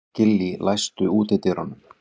Gillý, læstu útidyrunum.